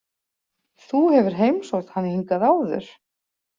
Þú hefur heimsótt hann hingað áður?